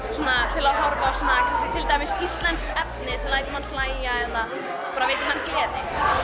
til að horfa á til dæmis íslenskt efni sem lætur mann hlæja eða veita manni gleði